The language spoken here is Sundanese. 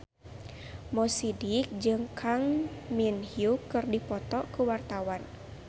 Mo Sidik jeung Kang Min Hyuk keur dipoto ku wartawan